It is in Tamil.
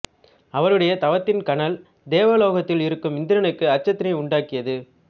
அவருடைய தவத்தின் கனல் தேவ லோகத்தில் இருக்கும் இந்திரனுக்கு அச்சத்தினை உண்டாக்கியது